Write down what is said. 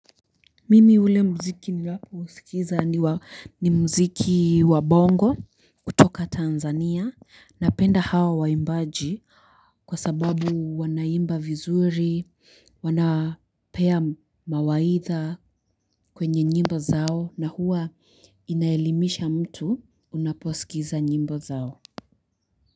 Mimi ule mziki ninaouskiza mziki wa bongo kutoka Tanzania napenda hawa waimbaji kwa sababu wanaimba vizuri, wanapea mawaidha kwenye nyimbo zao na huwa inaelimisha mtu unaposikiza nyimbo zao.